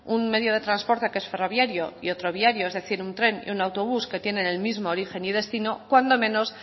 un medio de transporte que es ferroviario y otro viario es decir un tren y un autobús que tienen el mismo origen y destino cuando menos